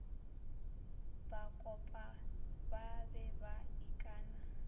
bakopa ba be ba ikana